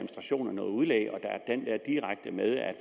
noget udlæg